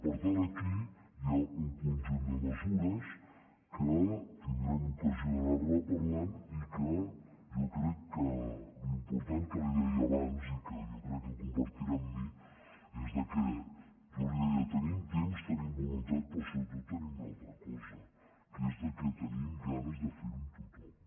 per tant aquí hi ha un conjunt de mesures que tindrem ocasió d’anar·ne parlant i que jo crec que l’important que li deia abans i que jo crec que compartirà amb mi és que jo li deia que tenim temps tenim voluntat però sobretot tenim una altra cosa que és que tenim ganes de fer·ho amb tothom